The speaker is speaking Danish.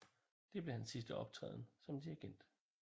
Det blev hans sidste optræden som dirigent